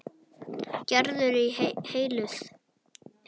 Gerður er heilluð.